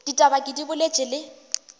ditaba ke di boletše le